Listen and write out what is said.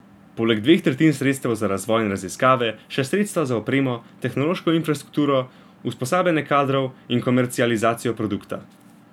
Poleg dveh tretjin sredstev za razvoj in raziskave še sredstva za opremo, tehnološko infrastrukturo, usposabljanje kadrov in komercializacijo produkta.